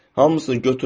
Hamısını götür apar.